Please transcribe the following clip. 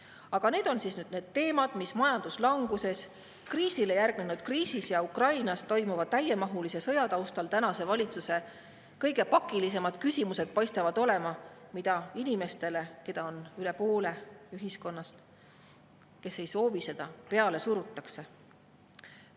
Aga need on need teemad, mis majanduslanguse, kriisile järgnenud kriisi ja Ukrainas toimuva täiemahulise sõja taustal tänase valitsuse kõige pakilisemad küsimused paistavad olema, mida inimestele, keda on üle poole ühiskonnast ja kes ei soovi seda, peale surutakse.